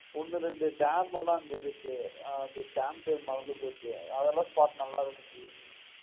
ஒண்ணு ரெண்டு dam எல்லாம் அங்க இருக்கு, அந்த dam பேரு மறந்து போச்சு. அதெல்லாம் spot நல்லாருக்கும் ஜி.